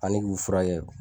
Ani k'u furakɛ.